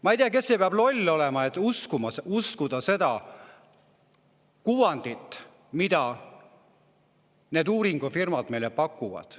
Ma ei tea, kes see loll on, kes usub seda kuvandit, mida need uuringufirmad meile pakuvad.